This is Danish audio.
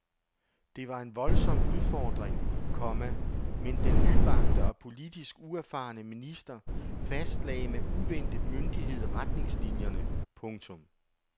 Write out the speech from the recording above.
Det var en voldsom udfordring, komma men den nybagte og politisk uerfarne minister fastlagde med uventet myndighed retningslinierne. punktum